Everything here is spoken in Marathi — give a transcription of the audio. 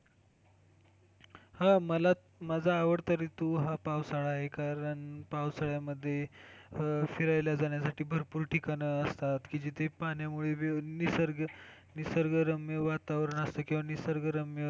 हा मला, माझा आवडता हा ऋतू पावसाळा आहे. कारण पावसाळ्या मध्ये फिरायला जाण्यासाठी भरपूर ठिकाणे असतात जिथे पाण्यामुळे निसर्ग, निसर्गरम्य वातावरण असते किंवा निसर्गरम्य,